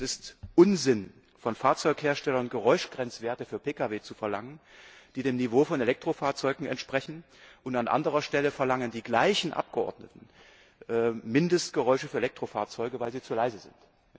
Es ist Unsinn, von Fahrzeugherstellern Geräuschgrenzwerte für Pkw zu verlangen, die dem Niveau von Elektrofahrzeugen entsprechen, und an anderer Stelle verlangen die gleichen Abgeordneten Mindestgeräusche für Elektrofahrzeuge, weil sie zu leise sind.